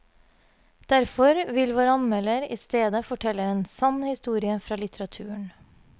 Derfor vil vår anmelder i stedet fortelle en sann historie fra litteraturen.